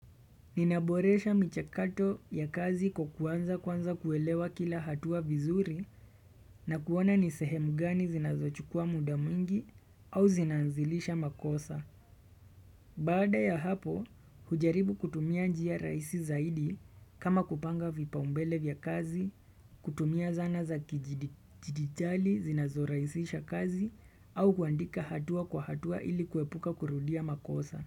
Ninaboresha michakato ya kazi kwa kuanza kwanza kuelewa kila hatua vizuri na kuona nisehemu gani zinazochukua muda mwingi au zinaanzilisha makosa. Bada ya hapo, hujaribu kutumia njia rahisi zaidi kama kupanga vipa umbele vya kazi, kutumia zana za kijiditali zinazo rahisisha kazi au kuandika hatua kwa hatua ili kuepuka kurudia makosa.